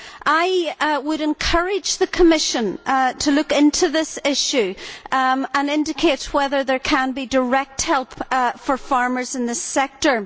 I would encourage the Commission to look into this issue and indicate whether there can be direct help for farmers in this sector.